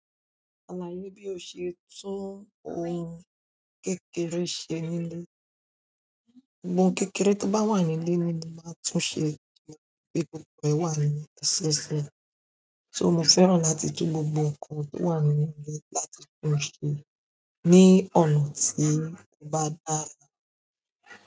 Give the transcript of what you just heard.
Ṣàlàyé bí o ṣe to ohun kékeré ṣe nílé. Ohun kékeré tó bá wà nílé ni mo máa ń túnṣe, ni pé gbogbo e wà nle---. So mo fẹ́ràn láti tún gbogbo ǹkan tó wà nínú ílẹ̀ láti tún ṣe ní ọ̀nà tí ó bá dára.